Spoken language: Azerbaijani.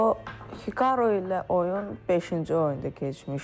O Hikaru ilə oyun beşinci oyunda keçmişdi.